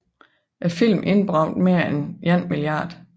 Filmen indbragte mere end 1 mia